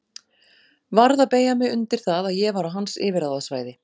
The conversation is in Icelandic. Varð að beygja mig undir það að ég var á hans yfirráðasvæði.